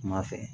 Kuma fɛ